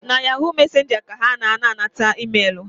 Na ‘yahoo messenger’ ka a na ana-anata emailu